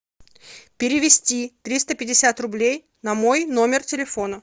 перевести триста пятьдесят рублей на мой номер телефона